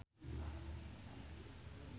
Dewi Gita jeung Sam Spruell keur dipoto ku wartawan